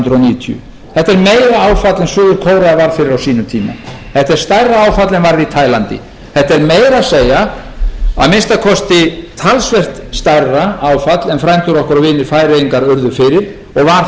níutíu þetta er meira áfall en suður kórea varð fyrir á sínum tíma þetta er stærra áfall en varð í taílandi þetta er meira að segja að minnsta kosti talsvert stærra áfall en frændur okkar og vinir færeyingar urðu fyrir og